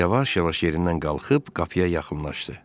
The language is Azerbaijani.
Yavaş-yavaş yerindən qalxıb qapıya yaxınlaşdı.